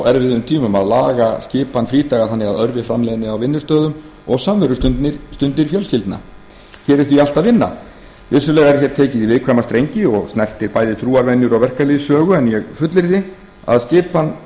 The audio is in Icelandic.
erfiðum tímum að laga skipan frídaga þannig að örvi framleiðni á vinnustöðum og samverustundir fjölskyldna hér er því allt að vinna vissulega er hér tekið í viðkvæma strengi og snertir bæði trúarvenjur og verkalýðssögu en ég fullyrði að